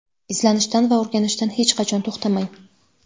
Izlanishdan va o‘rganishdan hech qachon to‘xtamang!.